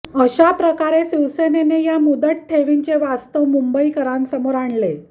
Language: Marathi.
अशाप्रकारे शिवसेनेने या मुदत ठेवींचे वास्तव मुंबईकरांसमोर आणले